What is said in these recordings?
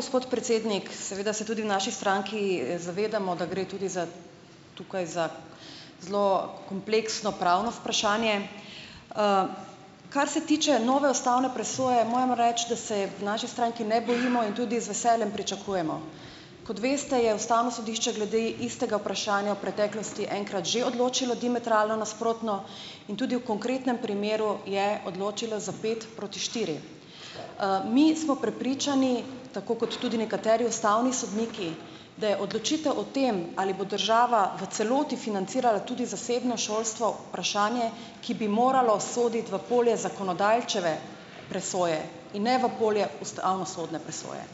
Gospod predsednik. Seveda se tudi v naši stranki, zavedamo, da gre tudi za, tukaj za zelo kompleksno pravno vprašanje. kar se tiče nove ustavne presoje, moram reči, da se je v naši stranki ne bojimo in tudi z veseljem pričakujemo. Kot veste, je ustavno sodišče glede istega vprašanja v preteklosti enkrat že odločilo diametralno nasprotno. In tudi v konkretnem primeru je odločilo za pet proti štiri. mi smo prepričani, tako kot tudi nekateri ustavni sodniki, da je odločitev o tem, ali bo država v celoti financirala tudi zasebno šolstvo vprašanje, ki bi moralo soditi v polje zakonodajalčeve presoje. In ne v polje ustavnosodne presoje.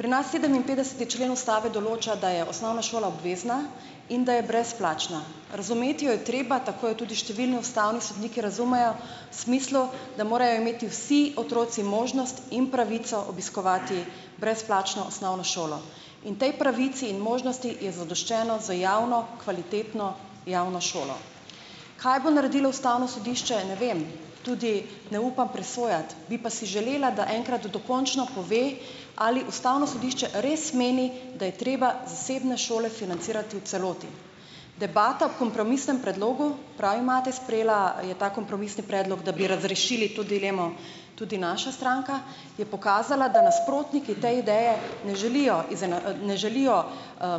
Pri nas sedeminpetdeseti člen ustave določa, da je osnovna šola obvezna in da je brezplačna. Razumeti jo je treba, tako jo tudi številni ustavni sodniki razumejo, v smislu, da morajo imeti vsi otroci možnost in pravico obiskovati brezplačno osnovno šolo. In potem pravici in možnosti je zadoščeno z javno, kvalitetno javno šolo. Kaj bo naredilo ustavno sodišče, ne vem . Tudi ne upam presojati. Bi pa si želela, da enkrat dokončno pove, ali ustavno sodišče res meni, da je treba zasebne šole financirati v celoti. Debata o kompromisnem predlogu, prav imate, sprejela je ta kompromisni predlog, da bi razrešili to dilemo tudi naša stranka, je pokazala, da nasprotniki te ideje ne želijo , ne želijo,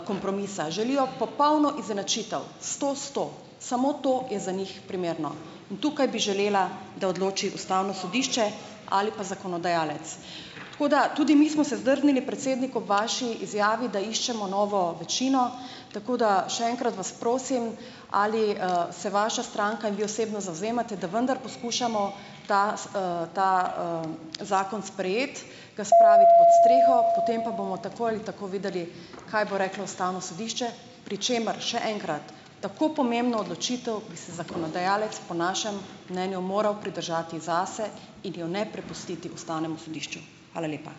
kompromisa. Želijo popolno izenačitev. Sto - sto. Samo to je za njih primerno. In tukaj bi želela, da odloči ustavno sodišče ali pa zakonodajalec. Tako da tudi mi smo se zdrznili, predsednik, ob vaši izjavi, da iščemo novo večino. Tako da še enkrat vas prosim, ali, se vaša stranka in vi osebno zavzemate, da vendar poskušamo ta ta, zakon sprejeti, ga spraviti pod streho, potem pa bomo tako ali tako videli, kaj bo reklo ustavno sodišče, pri čemer, še enkrat, tako pomembno odločitev bi se zakonodajalec , po našem mnenju, moral pridržati zase in jo ne prepustiti ustavnemu sodišču. Hvala lepa.